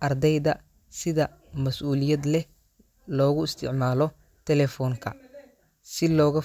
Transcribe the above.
ardayda sida mas'uuliyad leh loogu isticmaalo telephone-ka, si looga fo.